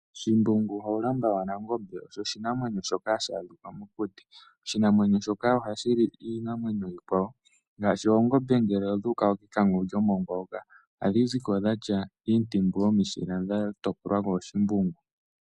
Shimbungu Hawulamba wa Nangombe osho oshinamwenyo shoka hashi adhika mokuti . Oshinamwenyo shoka ohashi li iinamwenyo iikwawo ngaashi oongombe ngele odhu uka kekango lyomongwa hoka ohadhi ziko dhatya iintimbu yomishila dha topolwa kooShimbungu.